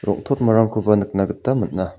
rong·totmarangkoba nikna gita man·a.